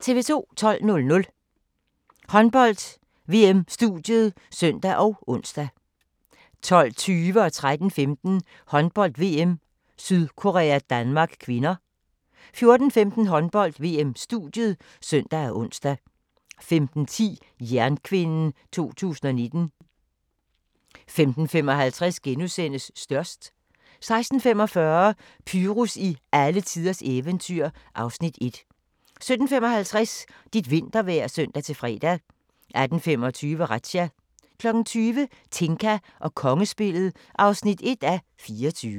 12:00: Håndbold: VM-studiet (søn og ons) 12:20: Håndbold: VM - Sydkorea-Danmark (k) 13:15: Håndbold: VM - Sydkorea-Danmark (k) 14:15: Håndbold: VM-studiet (søn og ons) 15:10: Jernkvinden 2019 15:55: Størst * 16:45: Pyrus i alletiders eventyr (Afs. 1) 17:55: Dit vintervejr (søn-fre) 18:25: Razzia 20:00: Tinka og kongespillet (1:24)